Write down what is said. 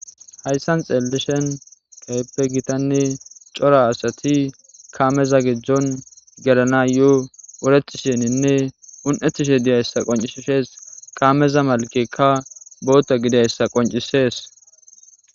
hayssan xeellishen gayppe gitanne cora asati kaameza gejon gerana yoo uretisheninne un7ettishe diyayssa qoncishees kaameza malkekka bootta gidyayssa qoncisees